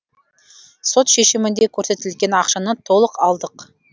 сот шешімінде көрсетілген ақшаны толық алдық